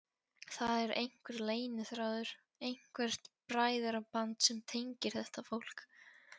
Það er einhver leyniþráður, eitthvert bræðraband sem tengir þetta fólk.